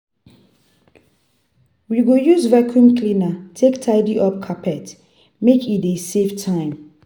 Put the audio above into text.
We go use vacuum cleaner take tidy up carpet, make e dey save time.